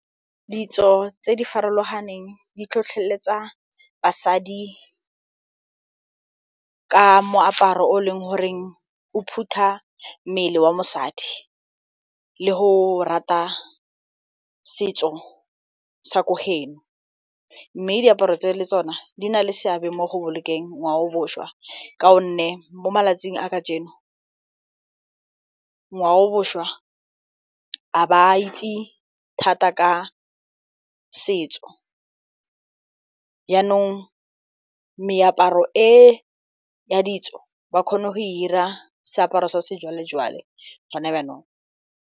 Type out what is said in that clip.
Ditso tse di farologaneng di tlhotlheletsa basadi ka moaparo o e leng goreng o phutha mmele wa mosadi le go rata setso sa ko mme diaparo tse le tsona di na le seabe mo go bolokeng ngwaoboswa ka gonne mo malatsing a kajeno ngwaoboswa a ba itse thata ka setso jaanong meaparo e ya ditso ba kgone go e 'ira seaparo sa sejwalejwale gone jaanong.